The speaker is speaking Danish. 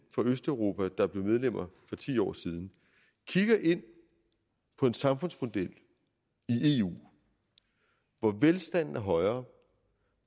fra østeuropa der blev medlemmer for ti år siden kigger ind på en samfundsmodel i eu hvor velstanden er højere